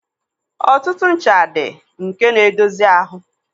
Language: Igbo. Ọtụtụ ncha dị nke na-edozi ahụ.